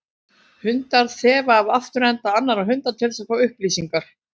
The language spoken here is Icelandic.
Hundar þefa af afturenda annarra hunda til þess að fá upplýsingar.